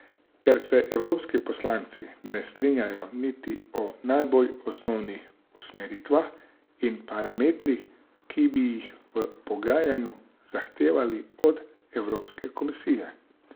Ker se Evropski poslanci ne strinjajo niti o najbolj osnovnih usmeritvah in parametrih, ki bi jih v pogajanjih zahtevali od Evropske komisije.